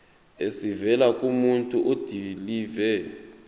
esivela kumuntu odilive